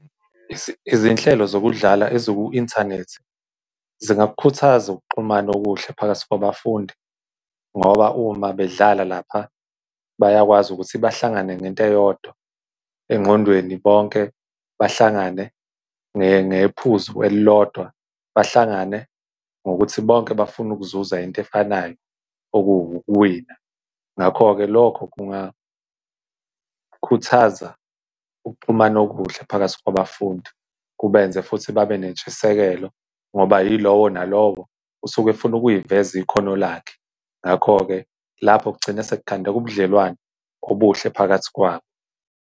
Izinhlelo zokudlala eziku-inthanethi, zingakukhuthaza ukuxhumana okuhle phakathi kwabafundi, ngoba uma bedlala lapha bayakwazi ukuthi bahlangane nento eyodwa, engqondweni bonke bahlangane ngephuzu elilodwa, bahlangane ngokuthi bonke bafuna ukuzuza into efanayo okuwukuwina. Ngakho-ke lokho kungakhuthaza ukuxhumana okuhle phakathi kwabafundi, kubenze futhi babe nentshisekelo, ngoba yilowo nalowo usuke efuna ukuyiveza ikhono lakho. Ngakho-ke lapho kugcine sekukhandeka ubudlelwane obuhle phakathi kwabo.